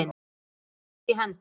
Þeir tókust í hendur.